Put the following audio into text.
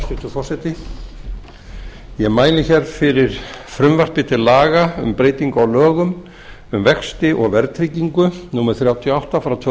forseti ég mæli fyrir frumvarpi til laga um breyting á lögum um vexti og verðtryggingu númer þrjátíu og átta tvö